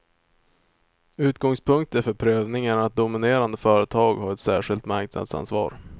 Utgångspunkter för prövningen är att dominerande företag har ett särskilt marknadsanvar.